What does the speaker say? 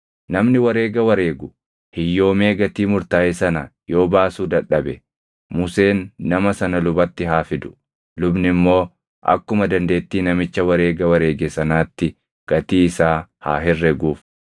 Namni wareega wareegu hiyyoomee gatii murtaaʼe sana yoo baasuu dadhabe, Museen nama sana lubatti haa fidu; lubni immoo akkuma dandeettii namicha wareega wareege sanaatti gatii isaa haa herreguuf.